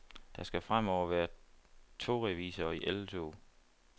Der skal fremover være togrevisorer i alle tog.